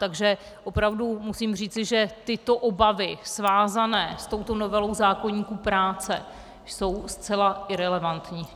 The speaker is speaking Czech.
Takže opravdu musím říci, že tyto obavy svázané s touto novelou zákoníku práce jsou zcela irelevantní.